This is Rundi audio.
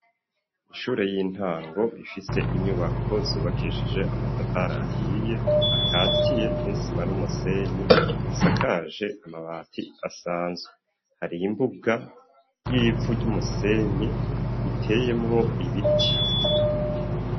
Ishure y'intango ifitse inyubako zubakeshije amatafari ahiye akatiye n'isima n'umusenyi asakaje amabati asanzwe hari imbuga y'ivu ryumusenyi iteyemwo ibiti.